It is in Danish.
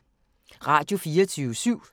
Radio24syv